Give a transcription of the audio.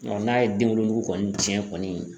n'a ye den wolonugu kɔni tiɲɛ kɔni